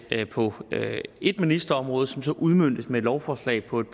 på ét ministerområde som så udmøntes med et lovforslag på et